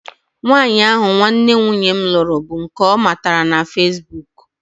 Nwaanyị ahụ nwanne nwunye m lụrụ bụ nke ọ matara na feesbuk